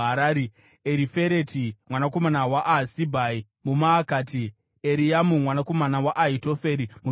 Erifereti mwanakomana waAhasibhai muMaakati, Eriamu mwanakomana waAhitoferi muGironi,